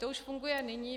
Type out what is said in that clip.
To už funguje nyní.